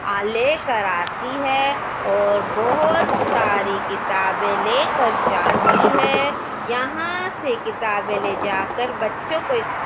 लेकर आती है और बहुत सारी किताबें लेकर जाती है यहां से किताबें ले जाकर बच्चों को--